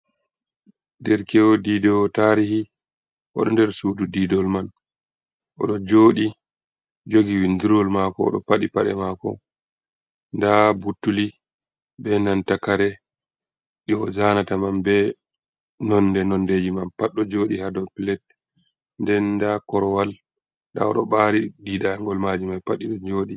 Der kew didewo tarihi, oɗo nder sudu didol man, oɗo jodi jogi windirwol mako, odo fadi paɗe mako nda buttuli be nanta kare ɗi o zanata man be nonde nondeji man pat do jodi hado plat, nden nda korwal da oɗo ɓari didangol maju mai pat iɗo joɗi.